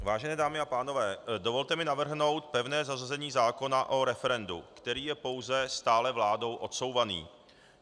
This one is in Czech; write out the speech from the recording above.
Vážené dámy a pánové, dovolte mi navrhnout pevné zařazení zákona o referendu, který je pouze stále vládou odsouvaný.